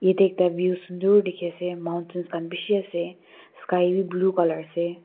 Dae ekta view sundur dekhe ase mountains khan beshi ase sky bhi blue colour ase.